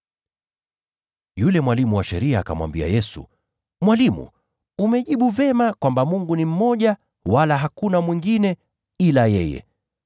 Yule mwalimu wa sheria akamwambia Yesu, “Mwalimu, umejibu vyema kwamba Mungu ni mmoja, wala hakuna mwingine ila yeye.